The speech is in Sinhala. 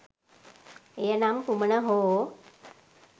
එය නම් කුමන හෝ